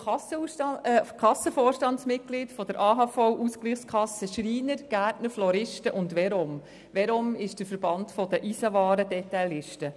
Ich bin Kassenvorstandsmitglied der AHV-Ausgleichskassen Schreiner, Gärtner und Floristen sowie der Ausgleichskasse Verom der Eisenwarendetaillisten.